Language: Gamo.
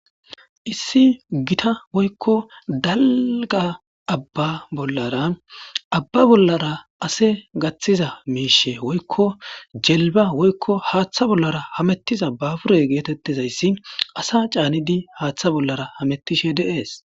Issi gita woykko dalga abba bollara abba bollara ase gaththiza miishe woykko jelba woykko haaththa bollara hamettiza babure geetettizayssi asa caanidi haaththa bollara hamettishe deees.